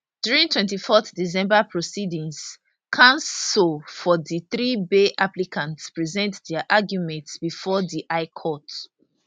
during 24 december proceedings counsel for di three bail applicants present dia arguments bifor di high court